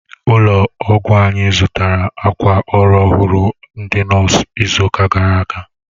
Ụlọ ọgwụ anyi zụtara akwa ọrụ ọhụrụ ndị nọọsụ izuka gara aga